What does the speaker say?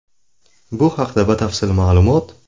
Bu haqda batafsil ma’lumot .